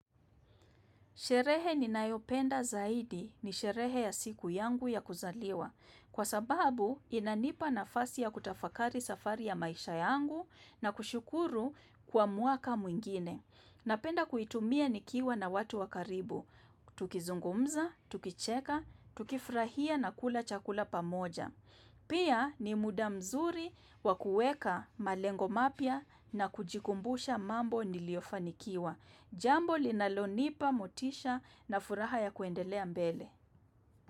Sherehe ninayopenda zaidi ni sherehe ya siku yangu ya kuzaliwa. Kwa sababu inanipa nafasi ya kutafakari safari ya maisha yangu na kushukuru kwa mwaka mwingine. Napenda kuitumia nikiwa na watu wa karibu. Tukizungumza, tukicheka, tukifurahia na kula chakula pamoja. Pia ni muda mzuri wa kueka malengo mapya na kujikumbusha mambo niliyofanikiwa. Jambo linalonipa, motisha na furaha ya kuendelea mbele.